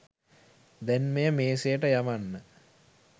දැන් මෙය මේසයට යවන්න.